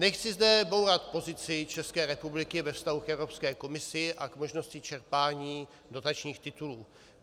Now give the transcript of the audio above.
Nechci zde bourat pozici České republiky ve vztahu k Evropské komisi a k možnosti čerpání dotačních titulů.